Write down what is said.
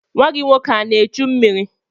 Nwa gị nwoke ana echu mmiri?